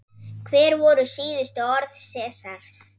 Hver voru síðustu orð Sesars?